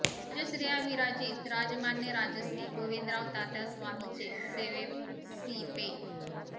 राजश्रिया विराजित राजमान्य राजश्री गोविंदराव तात्या स्वामीचे सेवेसीं पे